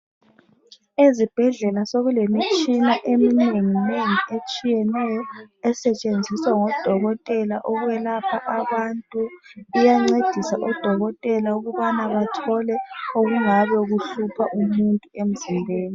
Ezibhedlela sokulemitshina eminenginengi etshiyeneyo esetshenziswa ngodokotela ukwelapha abantu. Iyancedisa odokotela ukuba bathole okungabe kuhlupha umuntu emzimbeni.